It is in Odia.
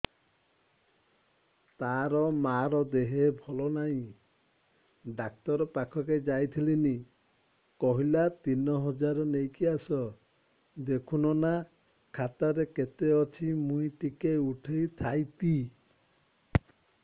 ତାର ମାର ଦେହେ ଭଲ ନାଇଁ ଡାକ୍ତର ପଖକେ ଯାଈଥିନି କହିଲା ତିନ ହଜାର ନେଇକି ଆସ ଦେଖୁନ ନା ଖାତାରେ କେତେ ଅଛି ମୁଇଁ ଟିକେ ଉଠେଇ ଥାଇତି